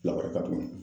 Lakɔrɔba kun